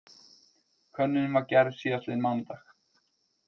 Könnunin var gerð síðastliðinn mánudag